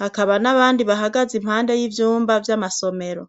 Hakaba n'abandi bahagaze impande y'ivyumba vy'amasomero.